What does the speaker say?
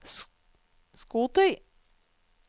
skotøy